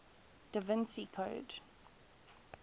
da vinci code